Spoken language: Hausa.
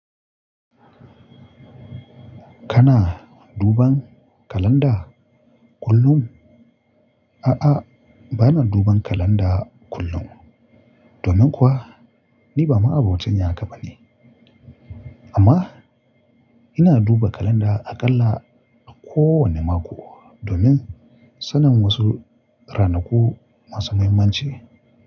Kana duban kalanda kullum? A'a, bana duban kalanda kullum. Domin kuwa ni ba ma'abocin yin haka bane. Amma ina duba kalanda aƙalla a kowane mako domin sanin wasu ranaku masu muhimmanci.